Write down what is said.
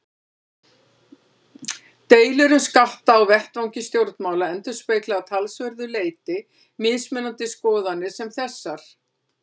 Deilur um skatta á vettvangi stjórnmála endurspegla að talsverðu leyti mismunandi skoðanir sem þessar.